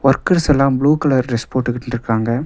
Workers எல்லாம் blue colour dress போட்டுகிட்டு இருக்காங்க.